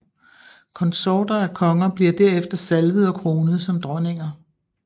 Konsorter af konger bliver derefter salvet og kronet som dronninger